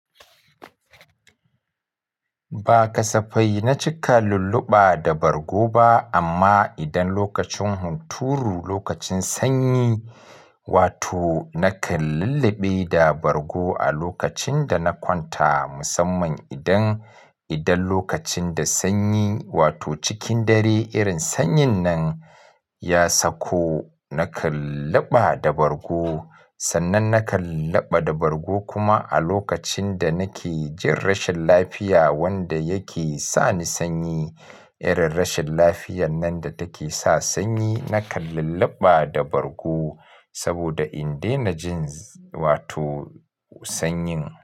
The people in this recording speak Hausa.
Ba kasafai na cika lulluɓa da bargo ba amma idan lokacin hunturu lokacin sanyi wato nakan lulluɓe da bargo a lokacin da na kwanta musamman idan, idan lokacin da sanyi wato cikin dare irin sanyin nan ya sauko nakan luɓa da bargo sannan nakan luɓa da bargo kuma a lokacin da nake jin rashin lafiya wanda yake sani sanyi irin rashin lafiyar nan da take sa sanyi nakan lulluɓa da bargo saboda in daina jin wato sanyin.